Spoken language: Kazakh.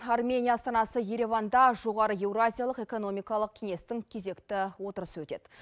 армения астанасы ереванда жоғары еуразиялық экономикалық кеңестің кезекті отырысы өтеді